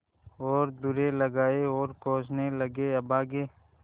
और दुर्रे लगाये और कोसने लगेअभागे